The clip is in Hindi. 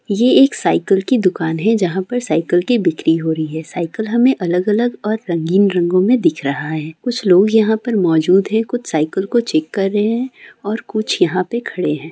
ये एक साइकिल की दुकान है जहां पर सायकल की बिक्री हो रही है सायकल हमें अलग-अलग और रंगीन रंगो में दिख रहा है कुछ लोग यहां पर मौजूद है कुछ सायकल को चेक कर रहे है और कुछ यहां पे खड़े है।